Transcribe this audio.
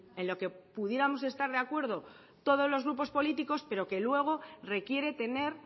en lo que pudiéramos estar de acuerdo todos los grupos políticos pero que luego requiere tener